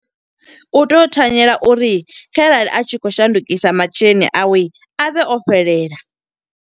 U tea u thanyela uri kharali a tshi khou shandukisa masheleni awe, a vhe o fhelela.